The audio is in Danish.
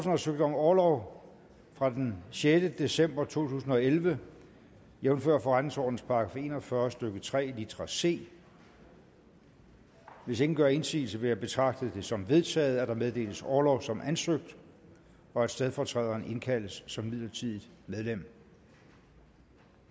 har søgt om orlov fra den sjette december to tusind og elleve jævnfør forretningsordenens § en og fyrre stykke tre litra c hvis ingen gør indsigelse vil jeg betragte det som vedtaget at der meddeles orlov som ansøgt og at stedfortræderen indkaldes som midlertidigt medlem